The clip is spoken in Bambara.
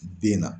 Den na